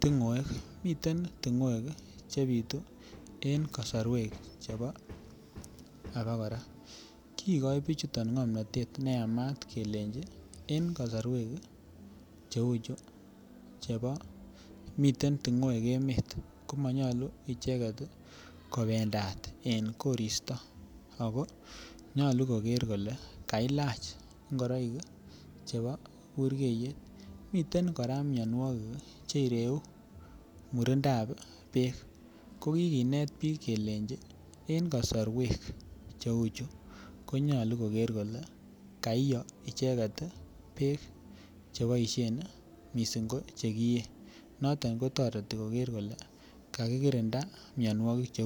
tingoek, miten tingoek chebitu en kosorwek chebo abakora, kikoin bichuton ngomnotet neyamat kelenji en kosorwek cheuchu chebo miten tingoek emet komonyolu icheket kobendat en koristo ak ko nyolu koker kolee kilach ingoroik chebo burkeiyet, miten kora mionwokik chereu murindab beek ko kikinet biik kelenchi en kosorwek cheuchu konyolu koker kole kaiyo icheket beek cheboishen mising ko chekiyee, noton kotoreti koker kolee kakikirinda mionwokik.